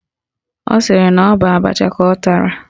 Ọ sịrị na ọ bụ abacha ka ọ tara